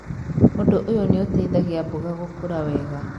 Ũndũ ũyũ nĩ ũteithagia mboga gũkũra wega.